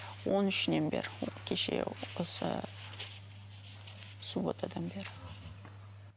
он үшінен бері кеше осы субботадан бері